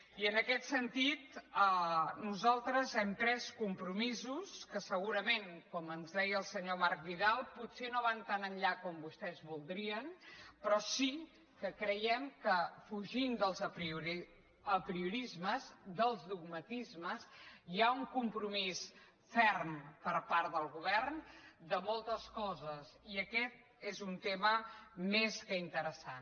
i en aquest sentit nosaltres hem pres compromisos que segurament com ens deia el senyor marc vidal potser no van tan enllà com vostès vol·drien però sí que creiem que fugint dels apriorismes dels dogmatismes hi ha un compromís ferm per part del govern de moltes coses i aquest és un tema més que interessant